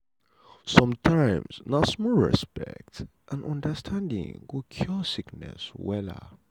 sometimes na small respect and understanding go cure sickness well.